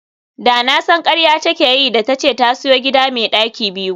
Da na san karya take yi da tace ta siyo gida me daki biyu